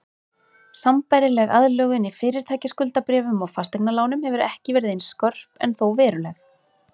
Sambærileg aðlögun í fyrirtækjaskuldabréfum og fasteignalánum hefur ekki verið eins skörp en þó veruleg.